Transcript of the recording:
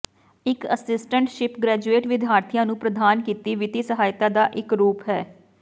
ਇਕ assistantship graduate ਵਿਦਿਆਰਥੀਆਂ ਨੂੰ ਪ੍ਰਦਾਨ ਕੀਤੀ ਵਿੱਤੀ ਸਹਾਇਤਾ ਦਾ ਇੱਕ ਰੂਪ ਹੈ